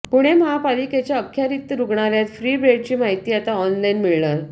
पुणे महापालिकेच्या अखत्यारीत रुग्णालयातील फ्री बेडची माहिती आता ऑनलाईन मिळणार